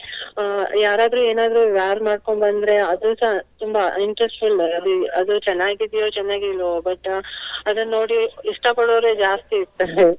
ಅಹ್ ಯಾರಾದ್ರೂ ಏನಾದ್ರು wear ಮಾಡ್ಕೊಂಡು ಬಂದ್ರೆ ಅದು ಸಹ ತುಂಬಾ interest . ಅದು ಚೆನ್ನಾಗಿದೆಯೋ ಚೆನ್ನಾಗಿಲ್ವೋ but ಅದನ್ ನೋಡಿ ಇಷ್ಟ ಪಡುವವರೇ ಜಾಸ್ತಿ ಇರ್ತಾರೆ.